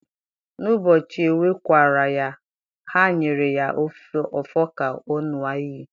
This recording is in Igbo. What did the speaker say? n'ubọchi ewe-kwa-ra ya, ha nyere ya ofo ka ọ ṅua iyi.